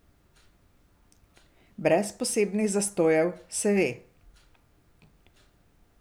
Brez posebnih zastojev, se ve.